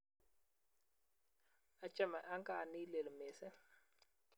achame ankaa ni lel misong